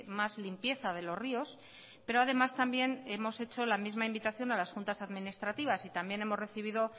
más limpieza de los ríos pero además también hemos hecho la misma invitación a las juntas administrativas y también hemos recibido